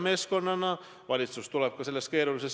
See ongi meie ja minu isiklik kriitika olnud.